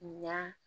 Nka